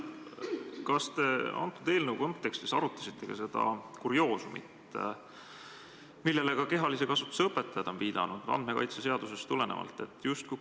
Kas te selle eelnõu kontekstis arutasite ka seda kurioosumit, millele kehalise kasvatuse õpetajad on viidanud isikuandmete kaitse seadusest tulenevalt?